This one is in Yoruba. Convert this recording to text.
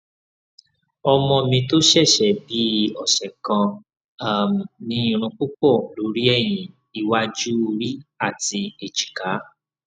ọmọ mi tó ṣẹṣẹ bíi ọsẹ kan um ní irun púpọ lórí ẹyìn iwájú ori àti ẹjìká